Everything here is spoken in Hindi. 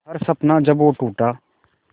हर सपना जब वो टूटा